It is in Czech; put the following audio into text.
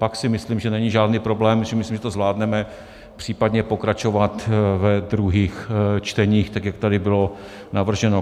Pak si myslím, že není žádný problém, myslím si, že to zvládneme, případně pokračovat ve druhých čteních tak, jak tady bylo navrženo.